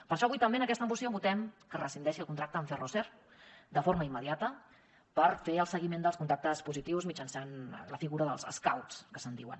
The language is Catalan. per això avui també en aquesta moció votem que es rescindeixi el contracte amb ferroser de forma immediata per fer el seguiment dels contactes positius mitjançant la figura dels scouts que se’n diuen